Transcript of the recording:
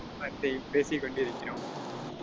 but பேசி கொண்டிருக்கிறோம்.